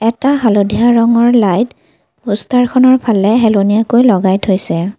এটা হালধীয়া ৰঙৰ লাইট প'ষ্টাৰখনৰ ফালে হেলনীয়াকৈ লগাই থৈছে।